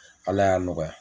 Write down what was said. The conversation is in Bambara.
Ala y'a nɔgɔya